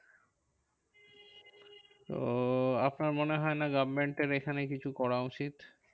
তো আপনার মনে হয়না government এখানে কিছু করা উচিত?